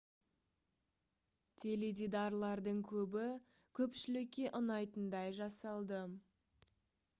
теледидарлардың көбі көпшілікке ұнайтындай жасалды